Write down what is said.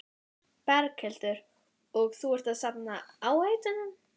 Berghildur: Og þú ert að safna áheitum?